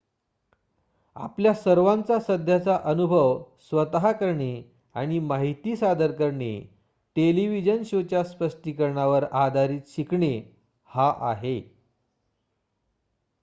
आपल्या सर्वांचा सध्याचा अनुभव स्वतः करणे आणि माहिती सादर करणे टेलिव्हिजन शोच्या स्पष्टीकरणावर आधारित शिकणे हा आहे